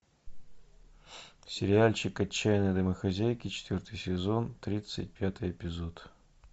сериальчик отчаянные домохозяйки четвертый сезон тридцать пятый эпизод